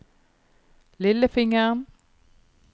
lillefingeren